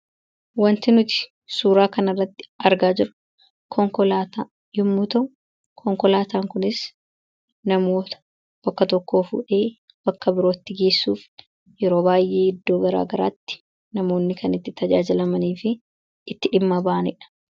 Waanti nuti suuraa kanarratti argaa jirru konkolaataa yommuu ta'u, konkolaataan kunis namoota bakka tokkoo fuudhee bakka birootti geessuuf yeroo baay'ee iddoo garaa garaatti namoonni kan itti tajaajilamanii fi itti dhimma bahanidha.